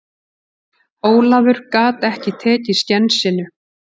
Ólafur gat ekki tekið skensinu.